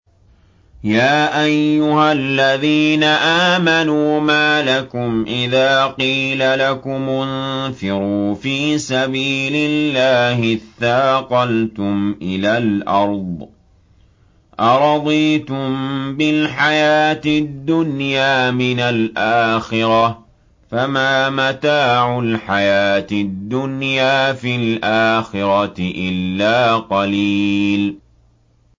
يَا أَيُّهَا الَّذِينَ آمَنُوا مَا لَكُمْ إِذَا قِيلَ لَكُمُ انفِرُوا فِي سَبِيلِ اللَّهِ اثَّاقَلْتُمْ إِلَى الْأَرْضِ ۚ أَرَضِيتُم بِالْحَيَاةِ الدُّنْيَا مِنَ الْآخِرَةِ ۚ فَمَا مَتَاعُ الْحَيَاةِ الدُّنْيَا فِي الْآخِرَةِ إِلَّا قَلِيلٌ